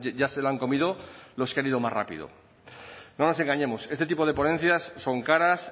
ya se lo han comido los que han ido más rápido no nos engañemos este tipo de ponencias son caras